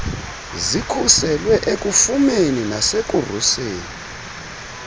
zikhuselwe ekufumeni nasekuruseni